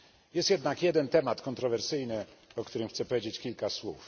Jest jednak jeden temat kontrowersyjny, o którym chcę powiedzieć kilka słów.